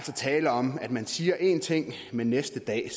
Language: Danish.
tale om at man siger en ting men næste dag